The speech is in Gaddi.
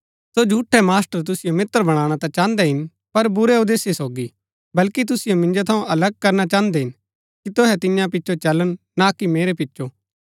सो झूठै मास्टर तुसिओ मित्र बणाणा ता चाहन्दै हिन पर बुरै उदेश्य सोगी बल्कि तुसिओ मिन्जो थऊँ अलग करना चाहन्दै हिन कि तुहै तियां पिचो चलन ना कि मेरै पिचो